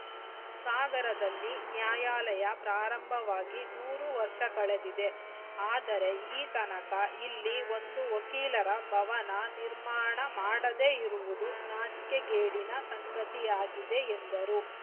ಸಾಗರದಲ್ಲಿ ನ್ಯಾಯಾಲಯ ಪ್ರಾರಂಭವಾಗಿ ನೂರು ವರ್ಷ ಕಳೆದಿದೆ ಆದರೆ ಈತನಕ ಇಲ್ಲಿ ಒಂದು ವಕೀಲರ ಭವನ ನಿರ್ಮಾಣ ಮಾಡದೆ ಇರುವುದು ನಾಚಿಕೆಗೇಡಿನ ಸಂಗತಿಯಾಗಿದೆ ಎಂದರು